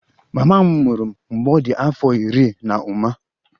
Mama m mụrụ m mgbe ọ dị afọ iri na ụma